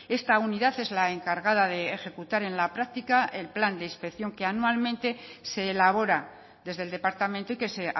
esta unidad es la encargada de ejecutar en la práctica el plan de inspección que anualmente se elabora desde el departamento y que se